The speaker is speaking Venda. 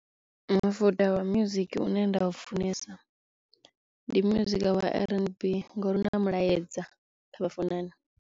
Mufuda wa music une nda u funesa ndi music wa RNB ngo mulaedza kha vhafunani.